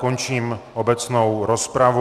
Končím obecnou rozpravu.